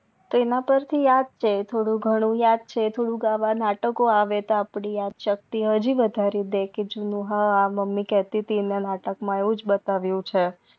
એના પર થી યાદ છે થોડુઘનું થોડું આવા નાટકો આવે તો અપડી યાદ સકતી હજી વધારી દે કે જૂનું હા કે મમ્મી કાતીતિ કે નાટક માં એવુજ બતાવ્યુ છે